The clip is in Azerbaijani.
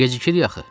Gecikirik axı.